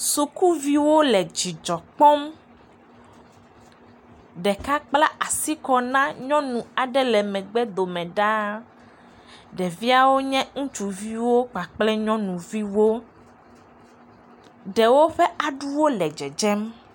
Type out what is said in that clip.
Sukuviwo le dzidzɔ kpɔm. Ɖeka kpla asi kɔ na nyɔnu aɖe le megbe dome ɖaa. Ɖeviawo nye ŋutsuviwo kpakple nyɔnuviwo. Ɖewo ƒe aɖuwo le dzedzem.